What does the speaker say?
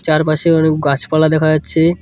চারপাশে অনেক গাছপালা দেখা যাচ্ছে।